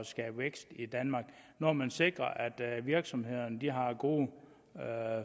skabe vækst i danmark når man sikrer at virksomhederne har gode